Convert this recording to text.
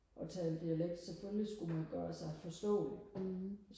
og tale dialekt selvfølgelig skulle man gøre sig forstålig